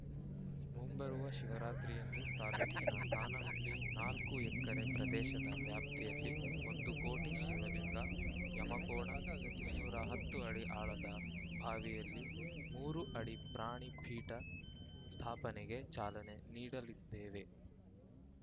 ಮುಂಬರುವ ಶಿವರಾತ್ರಿಯಂದು ತಾಲೂಕಿನ ಕಾನಹಳ್ಳಿ ನಾಲ್ಕು ಎಕ್ಕರೆ ಪ್ರದೇಶದ ವ್ಯಾಪ್ತಿಯಲ್ಲಿ ಒಂದು ಕೋಟಿ ಶಿವಲಿಂಗ ಯಮಕೋಣ ಇನ್ನೂರ ಹತ್ತು ಅಡಿ ಆಳದ ಬಾವಿಯಲ್ಲಿ ಮೂರು ಅಡಿ ಪ್ರಾಣಿ ಪೀಠ ಸ್ಥಾಪನೆಗೆ ಚಾಲನೆ ನೀಡಲಿದ್ದೇವೆ